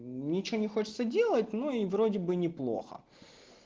ничего не хочется делать ну и вроде бы неплохо